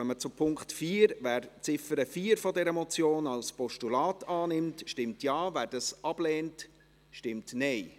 Wer die Ziffer 4 dieser Motion als Postulat annimmt, stimmt Ja, wer dies ablehnt, stimmt Nein.